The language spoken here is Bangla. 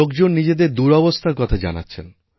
লোকজন নিজেদের দুরাবস্থার কথা জানাচ্ছেন